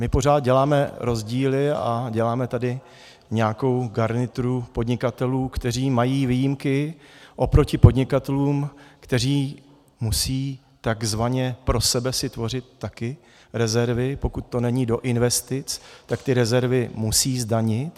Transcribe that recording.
My pořád děláme rozdíly a děláme tady nějakou garnituru podnikatelů, kteří mají výjimky oproti podnikatelům, kteří musí takzvaně pro sebe si tvořit také rezervy, pokud to není do investic, tak ty rezervy musí zdanit.